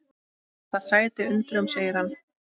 Það sætir undrum segir hann.